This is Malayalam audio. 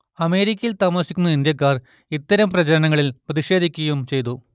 അമേരിക്കയിൽ താമസിക്കുന്ന ഇന്ത്യക്കാർ ഇത്തരം പ്രചരണങ്ങളിൽ പ്രതിഷേധിക്കുകയും ചെയ്തു